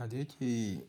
A da ya ke